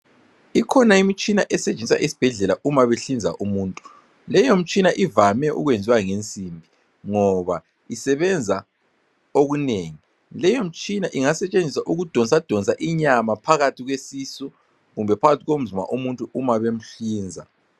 Ikhona imitshina esentshenziswa esibhedlela uma behlinza umuntu leyo mtshina ivame ukwenziwa ngensimbi ngoba isebenza okunengi. Leyomtshina ingasentshenziswa ukudonsa inyama phakathi kwesisu kumbe phakathi komzimba womuntu umabemhlinza.